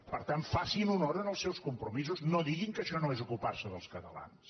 per tant facin honor als seus compromisos no diguin que això no és ocupar se dels catalans